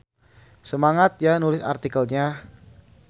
Semangat ya nulis artikelnya.